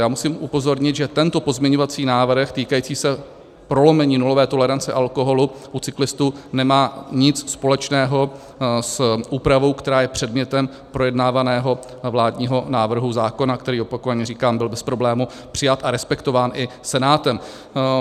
Já musím upozornit, že tento pozměňovací návrh týkající se prolomení nulové tolerance alkoholu u cyklistů nemá nic společného s úpravou, která je předmětem projednávaného vládního návrhu zákona, který, opakovaně říkám, byl bez problému přijat a respektován i Senátem.